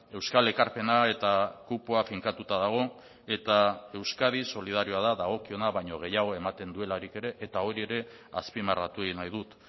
euskal ekarpena eta kupoa finkatuta dago eta euskadi solidarioa da dagokiona baino gehiago ematen duelarik ere eta hori ere azpimarratu egin nahi dut